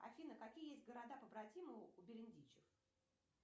афина какие есть города побратимы у бердичев